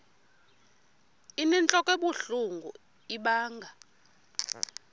inentlok ebuhlungu ibanga